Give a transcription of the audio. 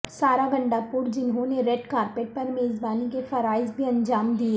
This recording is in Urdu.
سارہ گنڈا پور جنھوں نے ریڈ کارپٹ پر میزبانی کے فرائض بھی انجام دیے